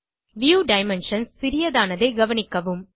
view dimensions சிறியதானதை கவனிக்கவும்